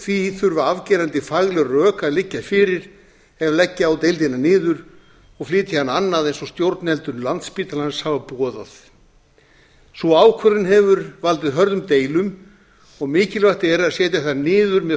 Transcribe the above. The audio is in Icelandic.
því þurfa afgerandi fagleg rök að liggja fyrir ef leggja á deildina niður og flytja hana annað eins og stjórnendur landspítalans hafa boðað sú ákvörðun hefur valdið hörðum deilum og mikilvægt er að setja þær niður með